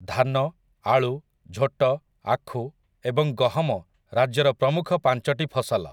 ଧାନ, ଆଳୁ, ଝୋଟ, ଆଖୁ, ଏବଂ ଗହମ ରାଜ୍ୟର ପ୍ରମୁଖ ପାଞ୍ଚଟି ଫସଲ ।